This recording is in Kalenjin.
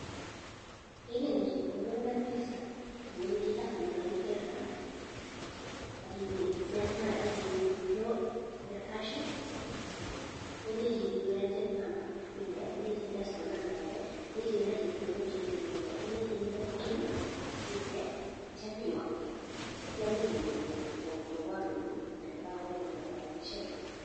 Ye inemu chepkondok ak mpesa iwendi app nebo mpesa akiwe withdraw the cash kolechin iwe agent number inde kolechin nde store number inde kolechin inde chepkondok chenemu inde kolechin inde pin inde atyam iyokte atyam iken konyo kobarun ole kakonemunak rabishe kuk.